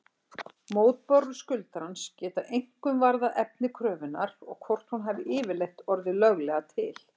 Mótbárur skuldarans geta einkum varðað efni kröfunnar og hvort hún hafi yfirleitt orðið löglega til.